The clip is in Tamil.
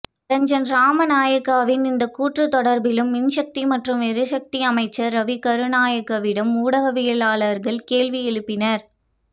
ரஞ்சன் ராமநாயக்கவின் இந்தக் கூற்று தொடர்பிலும் மின்சக்தி மற்றும் எரிசக்தி அமைச்சர் ரவி கருணாநாயக்கவிடம் ஊடகவியலாளர்கள் கேள்வி எழுப்பினர்